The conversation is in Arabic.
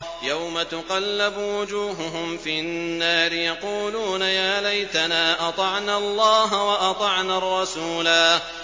يَوْمَ تُقَلَّبُ وُجُوهُهُمْ فِي النَّارِ يَقُولُونَ يَا لَيْتَنَا أَطَعْنَا اللَّهَ وَأَطَعْنَا الرَّسُولَا